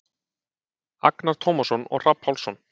Agnar Tómasson og Hrafn Pálsson.